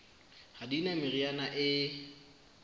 ha di na meriana e